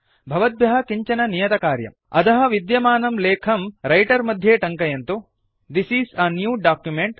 भवद्भ्यः किञ्चन नियतकार्यम् अधः विद्यमानं लेखं रैटर् मध्ये टङ्कयन्तु This is a new document